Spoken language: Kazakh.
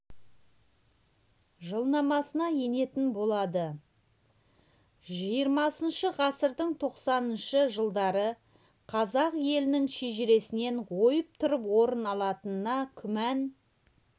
жылнамасына енетін болады жиырмасыншы ғасырдың тоқсаныншы жылдары қазақ елінің шежіресінен ойып тұрып орын алатынына күмән